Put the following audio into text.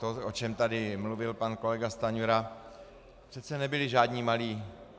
To, o čem tady mluvil pan kolega Stanjura, přece nebyli žádní malí.